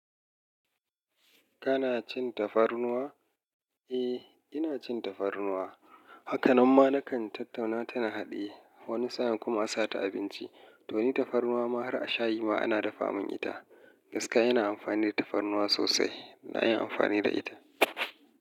Kana cin tafarnuwa? Eh, ina cin tafarnuwa. Hakanan ma nakan tattauna ta na haɗiye wani sa'in kuma a sa ta a abinci. To ni tafarnuwa ma har a shayi ma ana dafa mun ita. Gaskiya ina amfani da tafarnuwa sosai. Na yi amfani da ita.